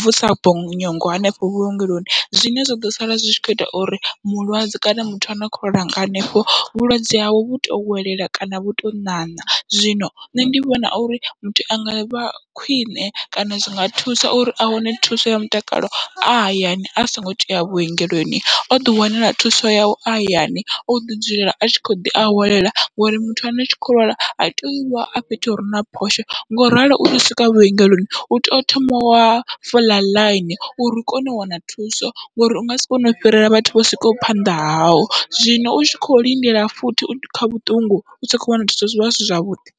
vusa bonyongo hanefho vhuongeloni, zwine zwa ḓo sala zwi tshi kho ita uri mulwadze kana muthu ano kho lwanga hanefho vhulwadze hawe vhu to welela kana vhu to ṋaṋa. Zwino nṋe ndi vhona uri muthu anga vha khwiṋe kana zwinga thusa uri a wane thuso ya mutakalo a hayani asongo tea vhuongeloni oḓi wanela thuso yawe a hayani oḓi dzulela atshi kho ḓi awelela, ngori muthu ane u kho lwala ha tei uvha a fhethu hure na phosho ngoralo utea u swika vhuongeloni uto thoma wa fola ḽaini, uri u kone u wana thuso ngori ungasi kone u fhirela vhathu vho swikaho phanḓa hau, zwino utshi kho lindela futhi kha vhuṱungu usa kho wana thuso zwivha zwisi zwavhuḓi.